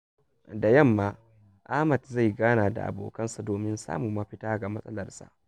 Da yamma, Ahmad zai gana da abokansa domin samun mafita ga matsalarsa.